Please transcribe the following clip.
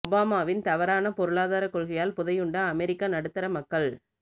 ஒபாமாவின் தவறான பொருளாதார கொள்கையால் புதையுண்ட அமெரிக்க நடுத்தர மக்கள்